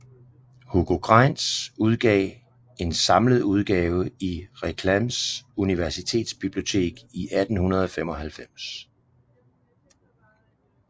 Hugo Greinz udgav en samlet udgave i Reclams universitetsbibliotek 1895